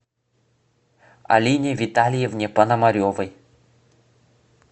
алине витальевне пономаревой